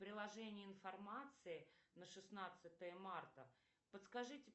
приложение информации на шестнадцатое марта подскажите